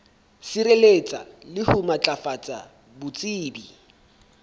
sireletsa le ho matlafatsa botsebi